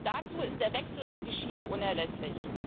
Dazu ist der Wechsel auf die Schiene unerlässlich.